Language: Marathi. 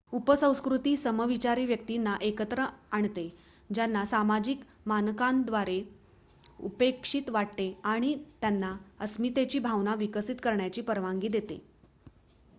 उपसंस्कृती समविचारी व्यक्तींना एकत्र आणते ज्यांना सामाजिक मानकांद्वारे उपेक्षित वाटते आणि त्यांना अस्मितेची भावना विकसित करण्याची परवानगी देते